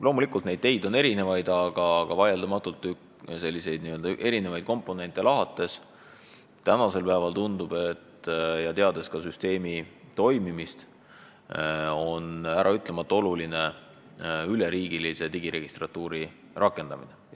Loomulikult on neid teid erinevaid, aga vaieldamatult tundub tänasel päeval eri komponente lahates, teades ka süsteemi toimimist, et äraütlemata oluline on üleriigilise digiregistratuuri rakendamine.